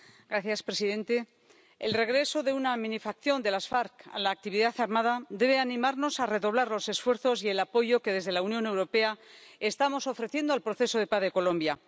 Señor presidente, el regreso de una minifacción de las FARC a la actividad armada debe animarnos a redoblar los esfuerzos y el apoyo que, desde la Unión Europea, estamos ofreciendo al proceso de paz de Colombia.